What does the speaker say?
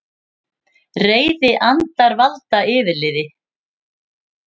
Reiðir andar valda yfirliði